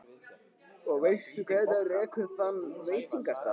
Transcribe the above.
Og veistu hver rekur þann veitingastað?